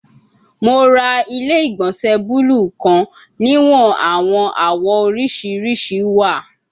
Mo ra ile-igbọnsẹ buluu kan niwon awọn awọ oriṣiriṣi wa